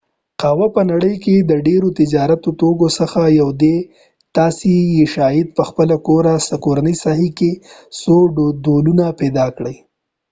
قهوه په نړۍ کې د ډیرو تجارتی توکو څخه یو دي چې تاسی یې شاید په خپل کورنۍ ساحه کې څو ډولونه پیدا کړۍ